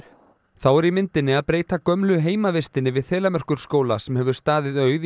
þá er í myndinni að breyta gömlu heimavistinni við Þelamerkurskóla sem hefur staðið auð í